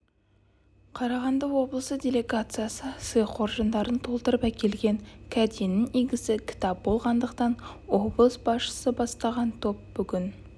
қарағанды облысы делегациясы сый қоржындарын толтырып әкелген кәденің игісі кітап болғандықтан облыс басшысы бастаған топ бүгін